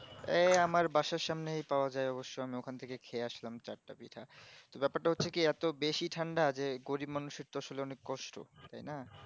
এ আমার বাসের সামনেই পাওয়া যায় অবশ্য আমি ওখান থেকে খেয়ে আসলাম চারটা পিঠা বেপারটা হচ্চে কি এতো বেশি ঠান্ডা যে গরিব মানুষের তো আসলে অনেক কষ্ট তাই না